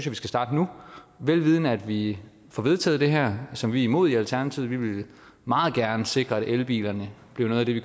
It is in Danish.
at vi skal starte nu vel vidende at vi får vedtaget det her som vi er imod i alternativet vi ville meget gerne sikre at elbiler blev noget vi